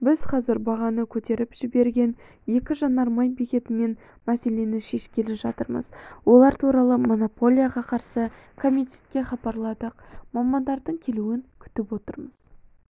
біз қазір бағаны көтеріп жіберген екі жанармай бекетімен мәселені шешкелі жатырмыыз олар туралы монополияға қарсы комитетке хабарладық мамандардың келуін күтіп отырмыз